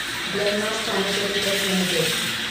Glenmark pharmaceuticals limited